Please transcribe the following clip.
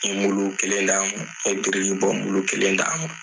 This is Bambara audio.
kelen na n birilen don kelen na.